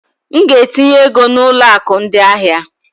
M ga-etinye ego na ụlọ akụ ndị ahịa.